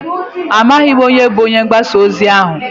Amaghị m onye bụ onye ngbasa ozi ahụ.